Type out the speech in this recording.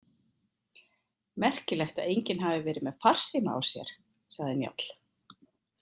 Merkilegt að enginn hafi verið með farsíma á sér, sagði Njáll.